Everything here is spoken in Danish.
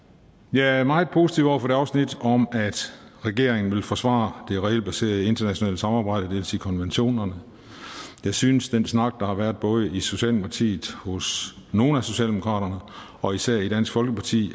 jeg er meget positiv over for det afsnit om at regeringen vil forsvare det regelbaserede internationale samarbejde det vil sige konventionerne jeg synes at den snak der har været i både socialdemokratiet hos nogle af socialdemokraterne og især i dansk folkeparti